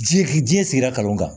Ji higi jinɛ sigira kalanw kan